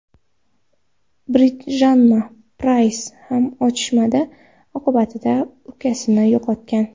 Bridjanna Prays ham otishma oqibatida ukasini yo‘qotgan.